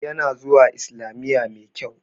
Ya na zuwa islamiya mai kyau